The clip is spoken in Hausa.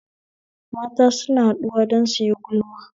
Mata suna haɗuwa don suyi gulma